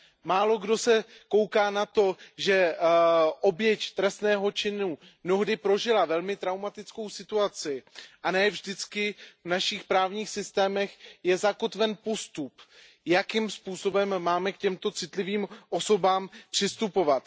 Málokdo zohledňuje, že oběť trestného činu mnohdy prožila velmi traumatickou situaci, a ne vždy je v našich právních systémech zakotven postup, jakým způsobem máme k těmto citlivým osobám přistupovat.